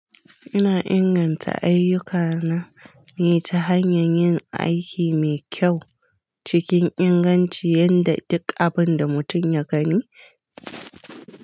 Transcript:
Ina inganta ayyukana ne ta hanyar yin aiki mai kyau cikin inganci, yanda duk abun da mutum ya gani.